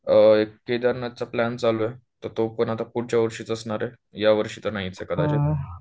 केदारनाथ चा प्लॅन चालू आहे, तर तो पण आता पुढच्या वर्षीच असणार आहे यावर्षी तर नाहीच हे कदाचित